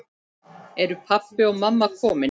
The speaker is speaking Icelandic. Eru pabbi og mamma komin?